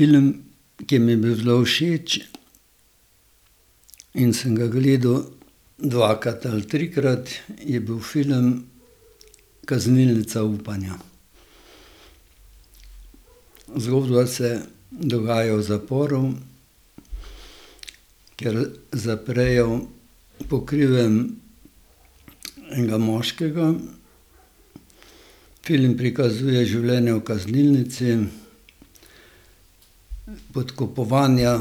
Film, ki mi je bil zelo všeč in sem ga gledal dvakrat ali trikrat, je bil film Kaznilnica upanja. Zgodba se dogaja v zaporu. Kjer zaprejo po krivem enega moškega. Film prikazuje življenje v kaznilnici, podkupovanja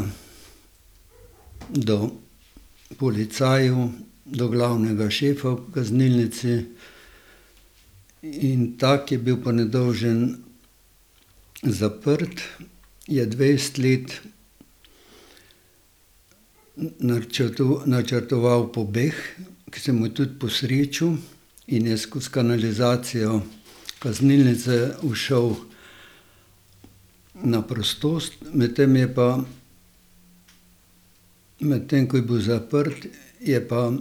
do policajev, do glavnega šefa v kaznilnici. In ta, ki je bil pa nedolžen zaprt, je dvajset let načrtoval pobeg, ke se mu je tudi posrečil, in je skozi kanalizacijo kaznilnice ušel na prostost. Medtem je pa, medtem ko je bil zaprt, je pa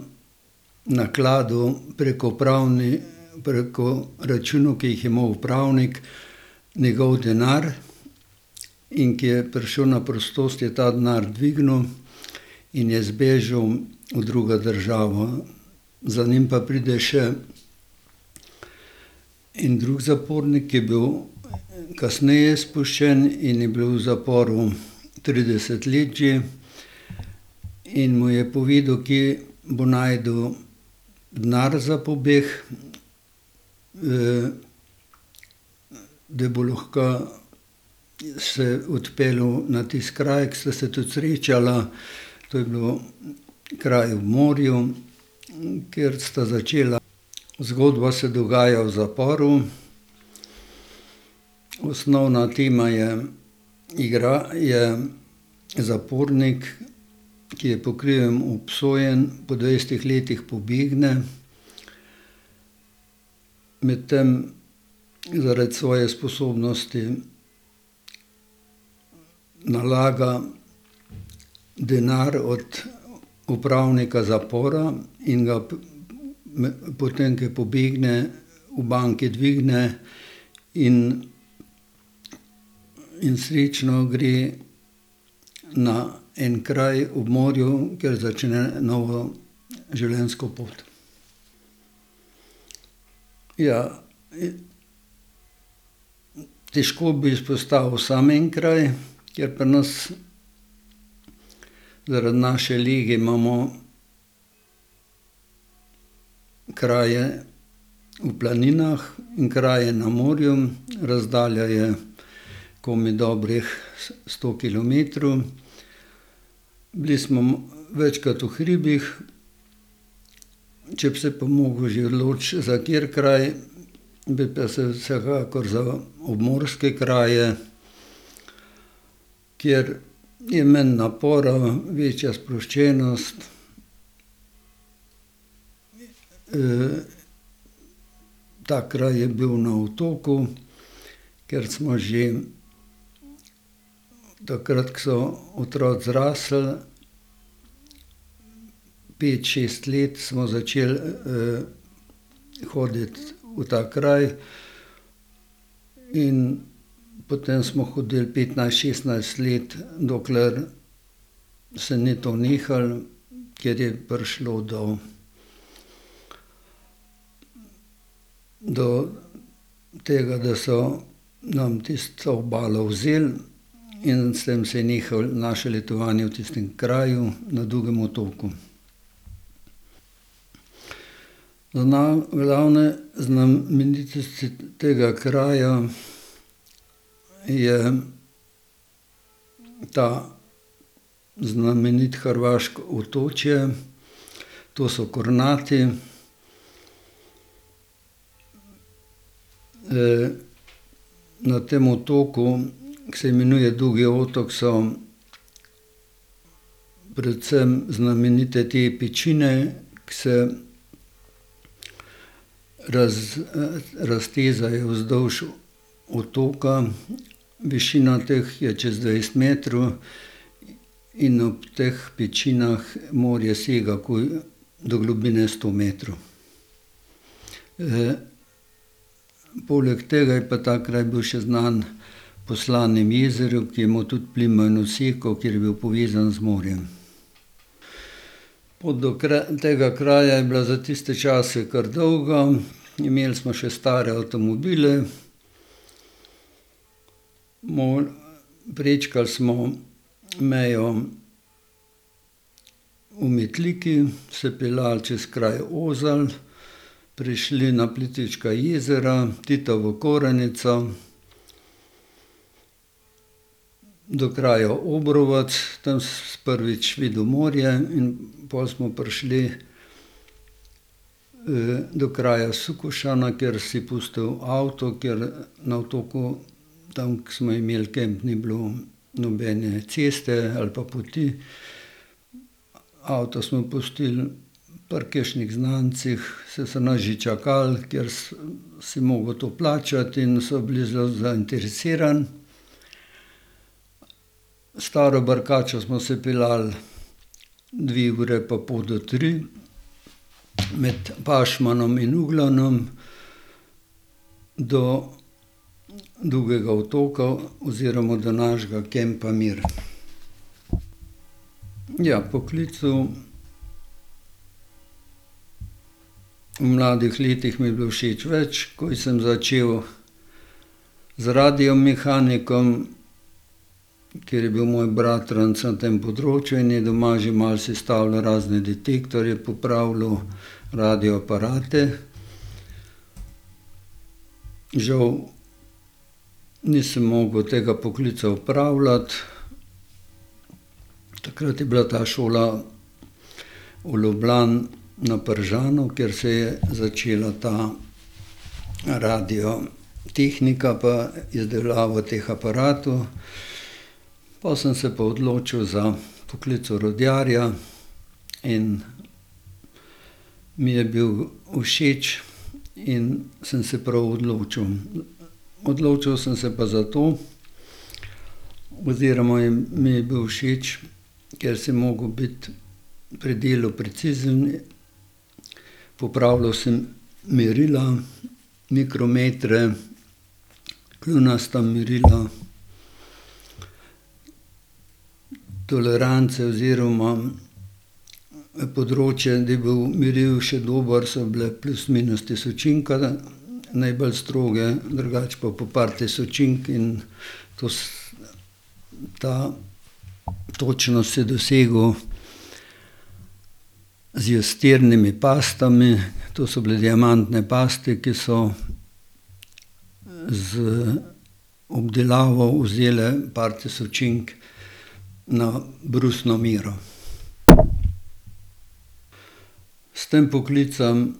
nakladal preko pravni preko računov, ke jih je imel upravnik, njegov denar, in ke je prišel na prostost, je ta denar dvignil in je zbežal v drugo državo. Za njim pa pride še en drug zapornik, ke je bil kasneje spuščen in je bil v zaporu trideset let že, in mu je povedal, kje bo našel denar za pobeg, da bo lahko se odpeljal na tisti kraj, ke sta se tudi srečala, to je bil kraj ob morju, kjer sta začela. Zgodba se dogaja v zaporu. Osnovna tema je je zapornik, ki je po krivem obsojen. Po dvajsetih letih pobegne. Medtem zaradi svoje sposobnosti nalaga denar od upravnika zapora in ga potem ke pobegne, v banki dvigne in in srečno gre na en kraj ob morju, kjer začne novo življenjsko pot. Ja. Težko bi izpostavil samo en kraj, ker pri nas zaradi naše lege imamo kraje v planinah, kraje na morju, razdalja je komaj dobrih sto kilometrov. Bili smo večkrat v hribih. Če bi se pa mogel že odločiti za kateri kraj, bi pa se vsekakor za obmorske kraje, kjer je manj napora, večja sproščenost. ta kraj je bil na otoku, kjer smo že takrat, ke so otroci zrasli, pet, šest let, smo začeli, hoditi v ta kraj. In potm smo hodili petnajst, šestnajst let, dokler se ni to nehalo, ker je prišlo do do tega, da so nam tisto obalo vzeli in s tem se je nehalo naše letovanje v tistem kraju na Dugem otoku. glavne znamenitosti tega kraja je to znamenito hrvaško otočje. To so Kornati. na tem otoku, ki se imenuje Dugi otok, so predvsem znamenite te pečine, ke se raztezajo vzdolž otoka. Višina teh je čez dvajset metrov in ob teh pečinah morje sega takoj do globine sto metrov. poleg tega je pa ta kraj bil še znan po slanem jezeru, ki je imel tudi plimo in oseko, ker je bil povezan z morjem. Pot do tega kraja je bila za tiste čase kar dolga. Imeli smo še stare avtomobile. prečkali smo mejo v Metliki, se peljali čez kraj Ozan, prišli na Plitvička jezera, Titovo Koranico do kraja Obrovec. Tam smo prvič videli morje in pol smo prišli, do kraja Sukošana, kjer si pustil avto, ker na otoku tam, ke smo imeli kamp, ni bilo nobene ceste ali pa poti. Avto smo pustili pri kakšnih znancih, saj so nas že čakali, ker si mogel to plačati, in so bili zelo zainteresirani. S staro barkačo smo se peljali dve uri pa pol do tri med Pašmanom in Ugljanom do Dugega otoka oziroma do našega kampa Mir. Ja, poklicev v mladih letih mi je bilo všeč več. Ko sem začel z radiomehanikom, ker je bil moj bratranec na tem področju in je doma že malo sestavljal razne detektorje, popravljal radio aparate. Žal nisem mogel tega poklica opravljati. Takrat je bila ta šola v Ljubljani na Pržanu, kjer se je začela ta radiotehnika pa izdelava teh aparatov. Po sem se pa odločil za poklic orodjarja in mi je bil všeč in sem se prav odločil. Odločil sem se pa zato oziroma je, mi je bil všeč, ker si mogel biti pri delu precizen. Popravljal sem merila, mikrometre, kljunasta mrila, tolerance oziroma področje, da je bilo merilo še dobro, so bile plus minus tisočinka, najbolj stroge, drugače pa po par tisočink in to ta točnost si dosegel z iztirnimi pastami. To so bile diamante paste, ki so z obdelavo vzele par tisočink na brusno mero. S tem poklicem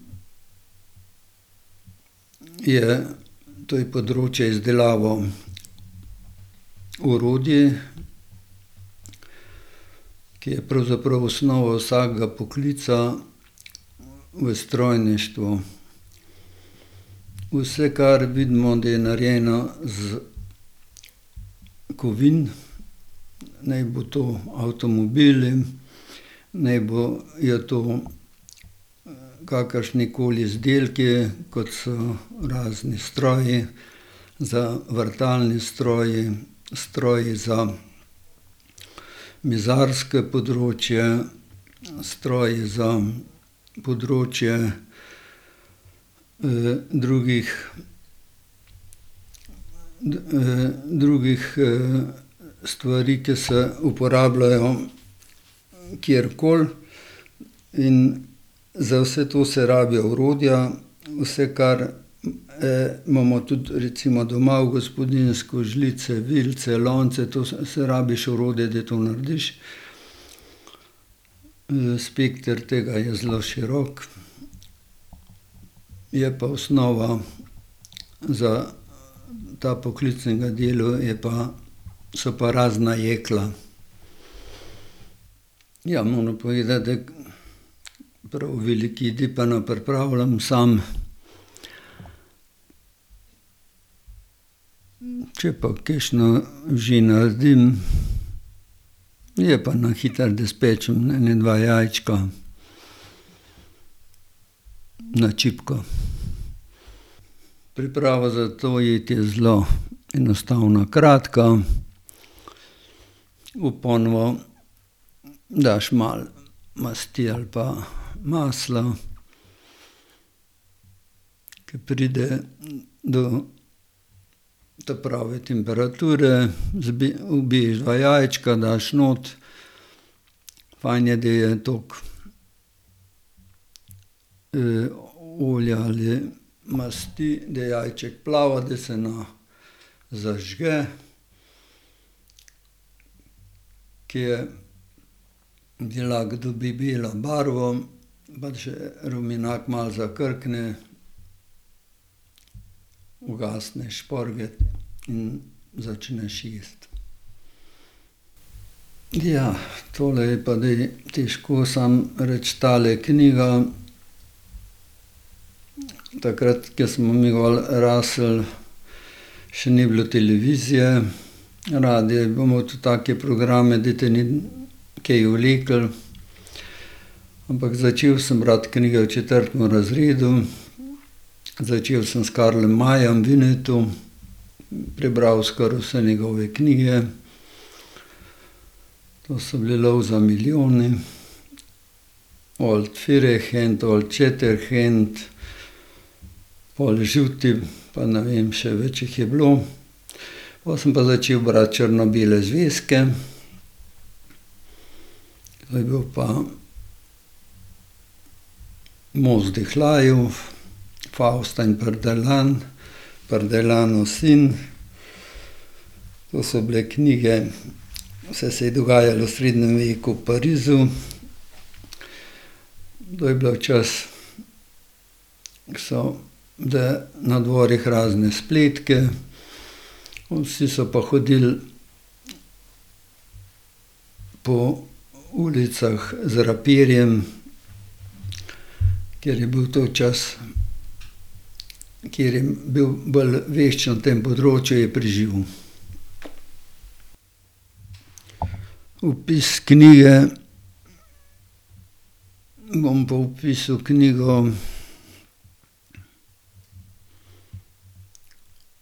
je, to je področje izdelave orodij, ki je pravzaprav osnova vsakega poklica v strojništvu. Vse, kar vidimo, da je narejeno iz kovin, naj bojo to avtomobili, naj bojo to, kakršnikoli izdelki, kot so razni stroji za, vrtalni stroji, stroji za mizarsko področje, stroji za področje, drugih, drugih, stvari, ki se uporabljajo kjerkoli, in za vse to se rabijo orodja. Vse, kar, imamo tudi recimo doma v gospodinjstvu, žlice, vilice, lonce, to za vse rabiš orodje, da to narediš. spekter tega je zelo širok, je pa osnova za ta poklic in ta delo je pa, so pa razna jekla. Ja, moram povedati, da prav veliko jedi pa ne pripravljam sam. Če pa kakšno že naredim, je pa na hitro, da spečem ene dva jajčka na čipko. Priprava za to jed je zelo enostavna, kratka. V ponev daš malo masti ali pa masla. Ke pride do ta prave temperature, ubiješ dva jajčka, daš not. Fajn je, da je dok, olja ali masti, da jajček plava, da se ne zažge. Ker je beljak dobi belo barvo pa še rumenjak malo zakrkne, ugasneš šporget in začneš jesti. Ja, tole je pa zdaj težko samo reči tale knjiga. Takrat, ke smo mi gor rasli, še ni bilo televizije, radio je pa imel tudi take programe, da te ni kaj vleklo. Ampak začel sem brati knjige v četrtem razredu. Začel sem s Karlom Mayem, Winnetou, prebral skoraj vse njegove knjige. To so bili Lov za milijoni, Old Firehand, Old Shatterhand, pol Žuti, pa na vem še, več jih je bilo. Pol sem pa začel brati črno-bele zvezke. To je bil pa Most vzdihljajev, Fausta in Pardaillan. Pardaillanov sin. To so bile knjige, vse se je dogajalo v srednjem veku v Parizu. To je bilo čas, ke so bile na dvorih razne spletke, vsi so pa hodili po ulicah z rapirjem, ker je bil to čas, ker je bil bolj vešč na tem področju, je preživel. Opis knjige. Bom pa opisal knjigo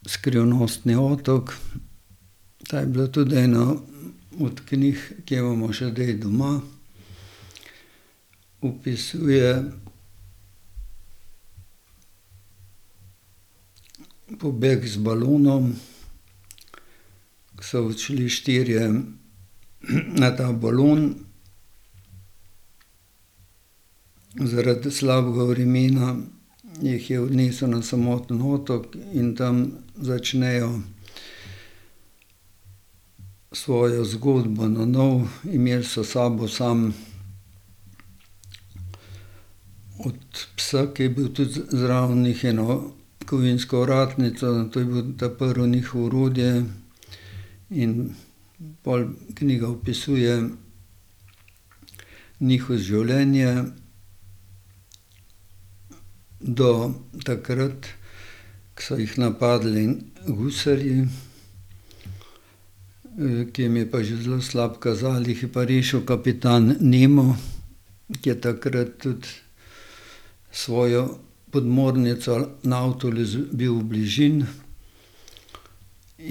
Skrivnostni otok. Ta je bila tudi ena od knjig, ke jo imamo še zdaj doma. Opisuje pobeg z balonom, ke so odšli štirje, na ta balon. Zaradi slabega vremena jih je odnesli na samotni otok in tam začnejo svojo zgodbo nanovo. Imel so s sabo samo od psa, ke je bil tudi zraven njih, eno kovinsko ovratnico. To je bil ta prvo njihovo orodje. In pol knjiga opisuje njihov življenje. Do takrat, ke so jih napadli gusarji. ki jim je pa že zelo slabo kazalo, jih je pa rešil kapitan Nemo, ke je takrat tudi s svojo podmornico Nautilus bil v bližini.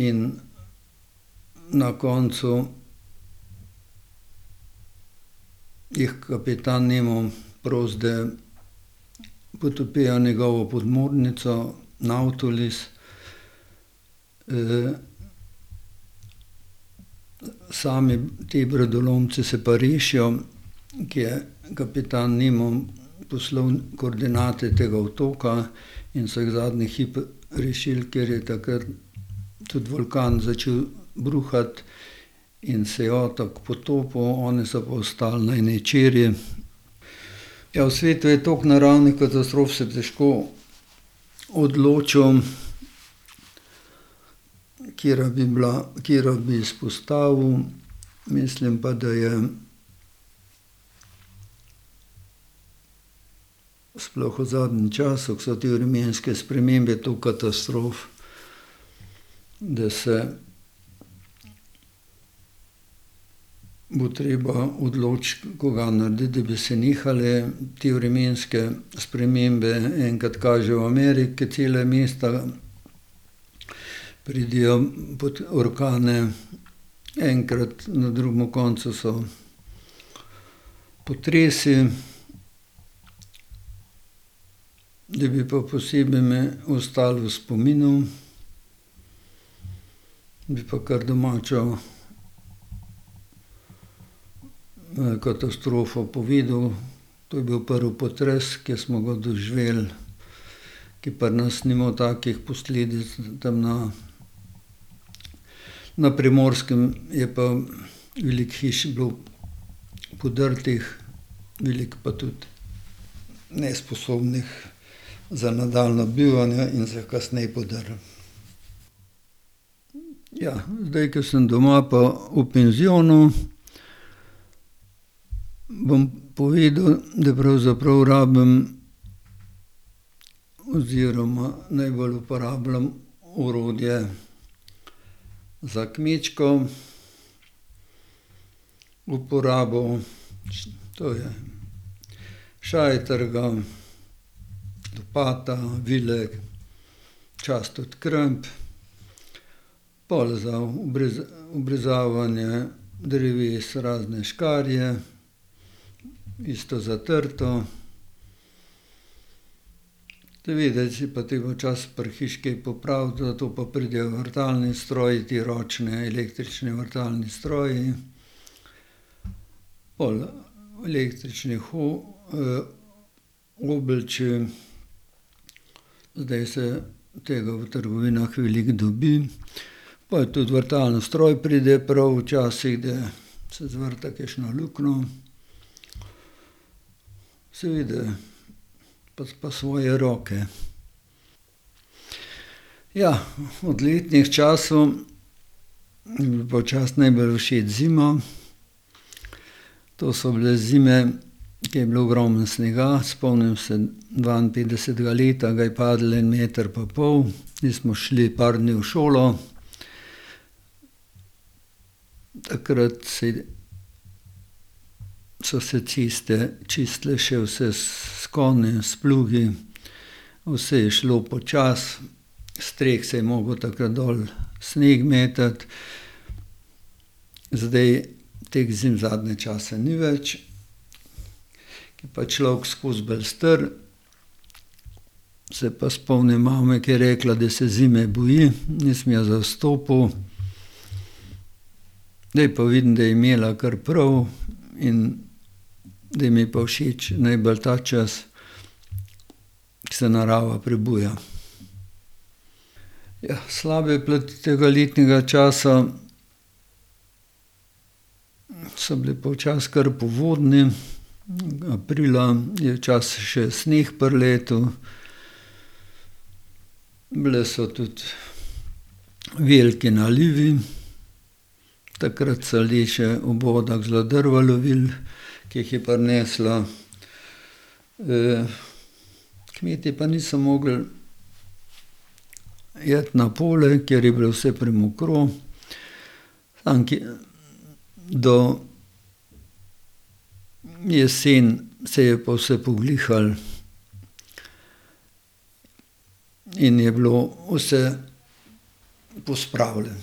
In na koncu jih kapitan Nemo prosi, da potopijo njegovo podmornico Nautilus, sami ti brodolomci se pa rešijo, ke je kapitan Nemo poslal koordinate tega otoka, in so jih zadnji hip rešil, ker je takrat tudi vulkan začel bruhati in se je otok potopil, oni so pa ostali na eni čeri. Ja, v svetu je toliko naravnih katastrof. Se težko odločim, katera bi bila, katero bi izpostavil. Mislim pa, da je sploh v zadnjem času, ke so te vremenske spremembe, toliko katastrof, da se bo treba odločiti, kuga narediti, da bi se nehale te vremenske spremembe. Enkrat kaže v Ameriki, ke cele mesta pridejo pod orkane, enkrat na drugem koncu so potresi. Da bi pa posebej mi ostalo v spominu, bi pa kar domačo, katastrofo povedal. To je bil prvi potres, ki smo ga doživeli, kje pri nas ni imel takih posledic, tam na na Primorskem je pa veliko hiš bilo podrtih. Veliko pa tudi nesposobnih za nadaljnje bivanje in so jih kasneje podrli. Ja, zdaj ko sem doma pa v penzionu, bom povedal, da pravzaprav rabim oziroma najbolj uporabljam orodje za kmečko uporabo. To je šajtrga, lopata, vile, včasih tudi kramp. Pol za obrezovanje dreves razne škarje, isto za trto. Seveda je pa treba včasih pri hiši kaj popraviti, zato pa pridejo vrtalni stroji, ti ročni električni vrtalni stroji pol električnih oblič. Zdaj se tega v trgovinah veliko dobi. Pa tudi vrtalni stroj pride prav včasih, da se zvrta kakšno luknjo. Seveda pa pa svoje roke. Ja, od letnih časov mi je bila pa včasih najbolj všeč zima. To so bile zime, ke je bilo ogromno snega. Spomnim se dvainpetdesetega leta ga je padlo en meter pa pol, nismo šli par dni v šolo. Takrat si, so se ceste čistile še vse s konji, s plugi, vse je šlo počasi. S streh se je mogel takrat dol sneg metati. Zdaj teh zim zadnje čase ni več. Ke je pa človek skozi bolj star, se pa spomnim mame, ker je rekla, da se zime boji. Nisem jo zastopil, zdaj pa vidim, da je imela kar prav in zdaj mi je pa všeč najbolj ta čas, ker se narava prebuja. Ja, slabe plati tega letnega časa so bile pa včasih kar povodne. Aprila je včasih še sneg priletel. Bili so tudi veliki nalivi. Takrat so ljudje še v vodah zelo drva lovili, ke jih je prinesla. kmeti pa niso mogli iti na polje, ker je bilo vse premokro. Tam nekje do jeseni se je pa vse poglihalo in je bilo vse pospravljeno.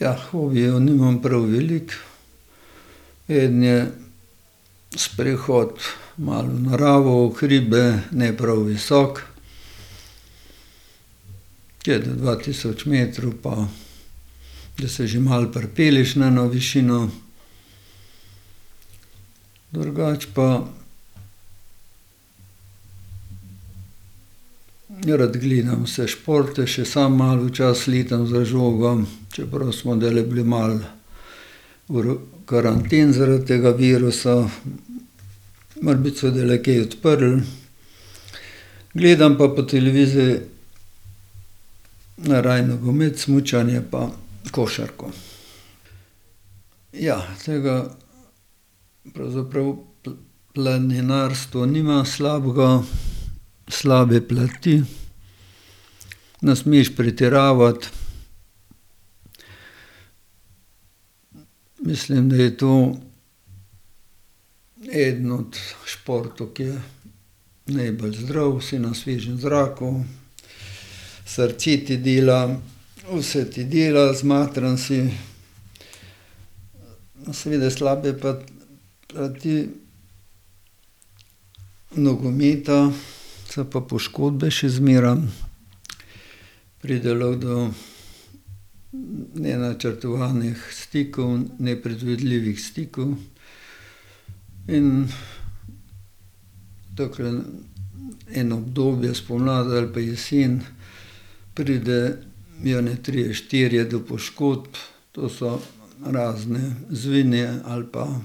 Ja, hobijev nimam prav veliko. Eden je sprehod malo v naravo, v hribe, ne prav visoko. Tja do dva tisoč metrov pa da se že malo pripelješ na eno višino. Drugače pa rad gledam vse športe, še samo malo včasih letam za žogo. Čeprav smo zdajle bili malo v karanteni zaradi tega virusa. Morebiti se bo zdajle kaj odprlo. Gledam pa po televiziji najraje nogomet, smučanje pa košarko. Ja, tega pravzaprav planinarstvo nima slabega, slabe plati. Ne smeš pretiravati. Mislim, da je to eden od športov, ke je najbolj zdrav, si na svežem zraku, srce ti dela, vse ti dela, zmatran si. No, seveda slabe plati nogometa so pa poškodbe še zmeraj. Pride lahko do, nenačrtovanih stikov, nepredvidljivih stikov in takole eno obdobje spomladi ali pa jesen pridejo eni trije, štirje do poškodb. To so razni zvini ali pa,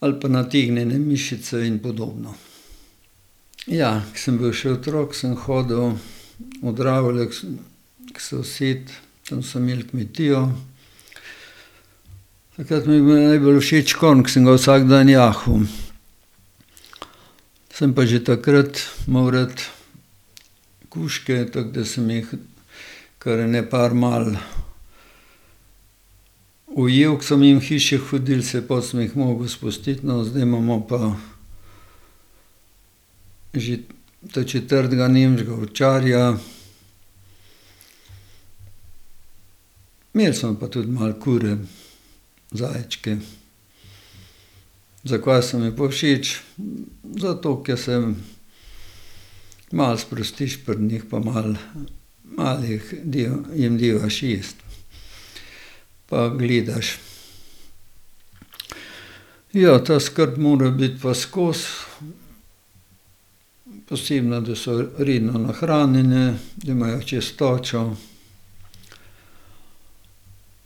ali pa nategnjene mišice in podobno. Ja, ko sem bil še otrok, sem hodil v Dravlje, k k sosedu. Tam so imeli kmetijo. Takrat mi je bil najbolj všeč konj, ke sem ga vsak dan jahal. Sem pa že takrat imel rad kužke, tako da sem jih kar ene par malo ujel, ke so mimo hiše hodili. Saj pol sem jih mogel spustiti. No, zdaj imamo pa že ta četrtega nemškega ovčarja. Imeli smo pa tudi malo kure, zajčke. Zakva so mi pa všeč? Zato, ker se malo sprostiš pri njih pa malo, malo jih malo jim devaš jesti. Pa gledaš. Ja, ta skrb mora biti pa skozi. Posebno, da so redno nahranjene, da imajo čistočo,